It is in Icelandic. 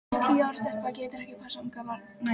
Tíu ára stelpa getur ekki passað ungbarn næturlangt.